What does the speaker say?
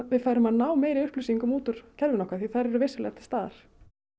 við færum að ná meiri upplýsingum út úr kerfinu okkar því þær eru vissulega til staðar